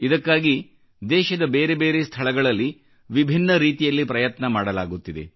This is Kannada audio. ಇದಕ್ಕಾಗಿ ದೇಶದ ಬೇರೆ ಬೇರೆ ಸ್ಥಳಗಳಲ್ಲಿ ವಿಭಿನ್ನ ರೀತಿಯಲ್ಲಿ ಪ್ರಯತ್ನ ಮಾಡಲಾಗುತ್ತಿದೆ